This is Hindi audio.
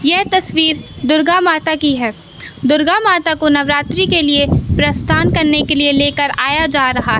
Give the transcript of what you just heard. ये तस्वीर दुर्गा माता की है दुर्गा माता को नवरात्रि के लिए प्रस्थान करने के लिए लेकर आया जा रहा--